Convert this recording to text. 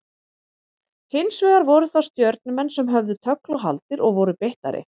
Hins vegar voru það Stjörnumenn sem höfðu tögl og haldir og voru beittari.